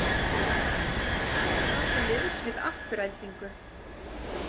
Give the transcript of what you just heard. Hrefna til liðs við Aftureldingu